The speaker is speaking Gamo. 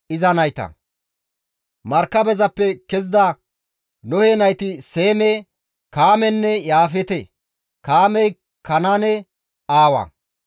Markabezappe kezida Nohe nayti Seeme, Kaamenne Yaafeete; Kaamey Kanaane aawa.